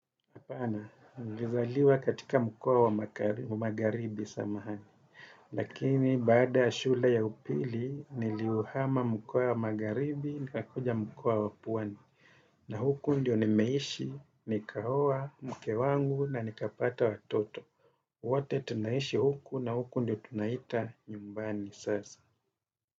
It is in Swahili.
Hapana, nilizaliwa katika mkoa wa magharibi samahani. Lakini, baada ya shule ya upili, niliuhama mkoa ya magharibi, nikakuja mkoa wa pwani. Na huku ndio nimeishi, nikaoa, mke wangu na nikapata watoto. Wote tunaishi huku na huku ndio tunaita nyumbani sasa.